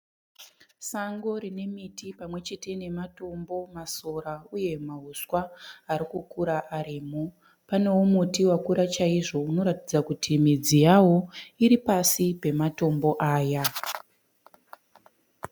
Sango rine miti pamwechete nematombo, masora uye mahuswa arikukura arimo. Paneo muti wakura chaizvo unoratidza kuti midzi yawo iri pasi pematombo aya.